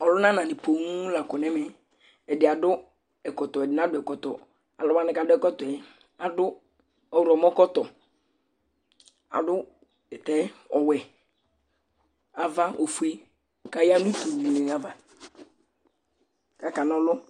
Ɔlʋnananɩ poo la kɔ nʋ ɛmɛ Ɛdɩ adʋ ɛkɔtɔ, ɛdɩ nadʋ ɛkɔtɔ Alʋ wanɩ kʋ adʋ ɛkɔtɔ yɛ, adʋ ɔɣlɔmɔkɔtɔ Adʋ tɛ ɔwɛ, ava ofue kʋ aya nʋ utu dɩnɩ ava kʋ akana ɔlʋ